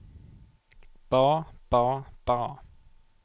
ba ba ba